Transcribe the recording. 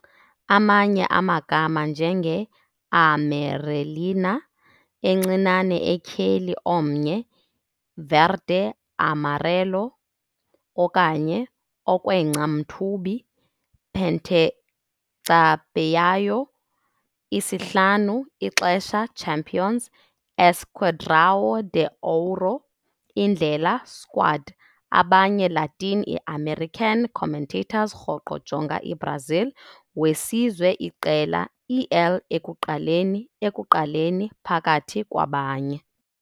Amanye amagama njenge "Amarelinha", "Encinane Etyheli Omnye", "Verde-amarelo", okanye "Okwengca-Mthubi", "Pentacampeão", "Isihlanu, ixesha Champions", "Esquadrão de Ouro", Indlela, Squad, abanye Latin i-american commentators rhoqo jonga i-Brazil Wesizwe iqela "El Ekuqaleni", Ekuqaleni, phakathi kwabanye.